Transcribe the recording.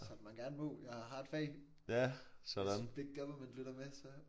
Som man gerne må jeg har et fag hvis big government lytter med så